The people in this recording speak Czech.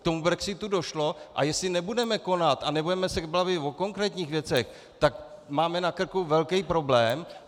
K tomu brexitu došlo, a jestli nebudeme konat a nebudeme se bavit o konkrétních věcech, tak máme na krku velký problém.